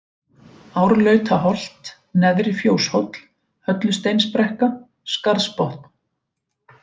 Árlautaholt, Neðri-Fjóshóll, Höllusteinsbrekka, Skarðsbotn